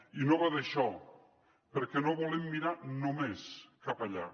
i no va d’això perquè no volem mirar només cap allà